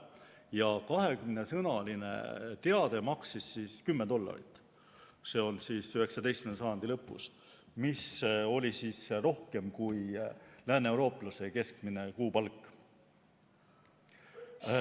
Ja 20-sõnaline teade maksis 10 dollarit – see oli 19. sajandi lõpus –, mis oli rohkem kui lääneeurooplase keskmine kuupalk.